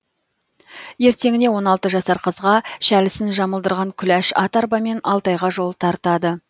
ертеңіне он алты жасар қызға шәлісін жамылдырған күләш ат арбамен алтайға жол тартады